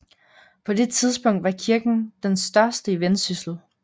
På det tidspunkt var kirken den største i Vendsyssel